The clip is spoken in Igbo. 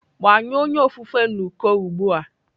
Gbanyụọ onye ofufe n'uko ugbu a!